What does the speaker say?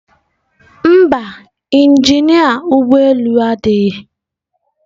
Mba, injinia ụgbọ elu adịghị.